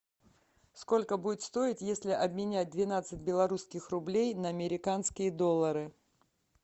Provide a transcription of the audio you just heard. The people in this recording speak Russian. сколько будет стоить если обменять двенадцать белорусских рублей на американские доллары